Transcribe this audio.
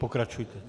Pokračujte.